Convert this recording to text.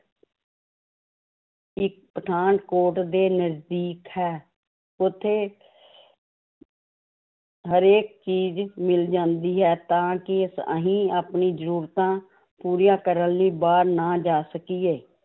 ਪਠਾਨਕੋਟ ਦੇ ਨਜ਼ਦੀਕ ਹੈ ਉੱਥੇ ਹਰੇਕ ਚੀਜ਼ ਮਿਲ ਜਾਂਦੀ ਹੈ, ਤਾਂ ਕਿ ਅਸੀਂ ਆਪਣੀ ਜ਼ਰੂਰਤਾਂ ਪੂਰੀਆਂ ਕਰਨ ਲਈ ਬਾਹਰ ਨਾ ਜਾ ਸਕੀਏ